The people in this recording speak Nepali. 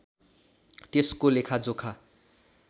त्यसको लेखाजोखा